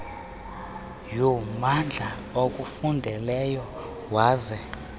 yommandla akufundeleyo waze